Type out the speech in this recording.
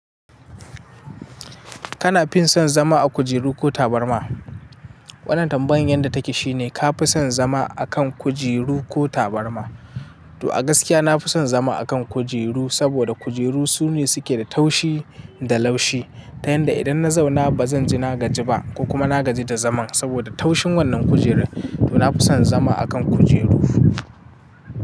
Kana fin son zama a kujeru ko tabarma? Wannan tambayar yadda take shine ka fi son zama a kan kujeru ko tabarma? To a gaskiya na fi son zama a kan kujeru saboda kujeru sune suke da taushi da laushi. Ta yanda idan na zauna ba zan ji nagaji ba ko kuma na gaji da zaman saboda taushin wannan kujeru. To na fi son zama a kan kujeru.